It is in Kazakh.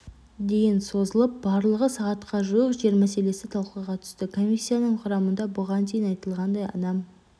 дейін созылып барлығы сағатқа жуық жер мәселесі талқыға түсті комиссияның құрамында бұған дейін айтылғандай адам